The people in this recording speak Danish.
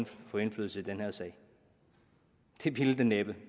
få indflydelse i den her sag det ville det næppe det